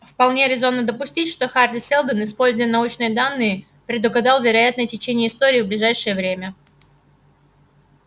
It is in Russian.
вполне резонно допустить что хари сэлдон используя научные данные предугадал вероятное течение истории в ближайшее время